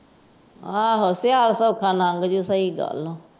ਆਹੋ ਸਿਆਲ ਸੌਖਾ ਲੱਗ ਜਾਇ ਸਹੀ ਗੱਲ ਏ।